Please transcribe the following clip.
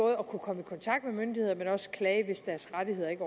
at kunne komme i kontakt med myndighederne men også til at hvis deres rettigheder ikke